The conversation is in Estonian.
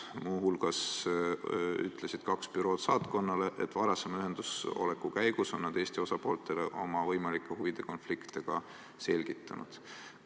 Muu hulgas ütlesid kaks bürood saatkonnale, et varasema ühenduses oleku käigus on nad Eesti osapooltele oma võimalikku huvide konflikti ka selgitanud.